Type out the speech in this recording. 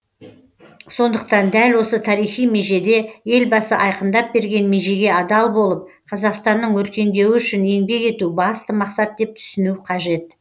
сондықтан дәл осы тарихи межеде елбасы айқындап берген межеге адал болып қазақстанның өркендеуі үшін еңбек ету басты мақсат деп түсіну қажет